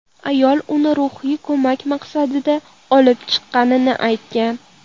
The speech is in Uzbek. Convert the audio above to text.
Ayol uni ruhiy ko‘mak maqsadida olib chiqqani aytgan.